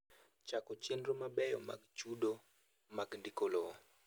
Chako chenro mabeyo mag chudo mag ndiko lowo.